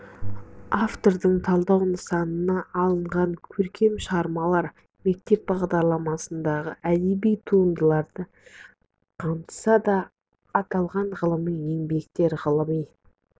автордың талдау нысанына алынған көркем шығармалар мектеп бағдарламасындағы әдеби туындыларды қамтыса да аталған ғылыми еңбектер ғылыми